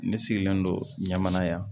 Ne sigilen don ɲamana yan